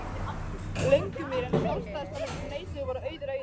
Löngumýri, en sjálfstæðismennirnir sem neituðu voru Auður Auðuns